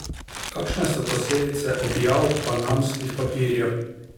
Kakšne so posledice objav panamskih papirjev?